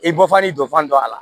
I bɔfan ni dɔ fana don a la